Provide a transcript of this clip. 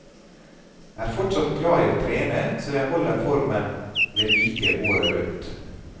Er fortsatt glad i å trene, så jeg holder formen ved like året rundt.